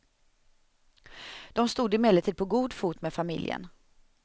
De stod emellertid på god fot med familjen.